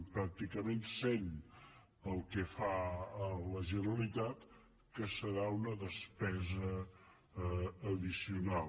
pràcticament cent pel que fa a la generalitat que serà una despesa addicional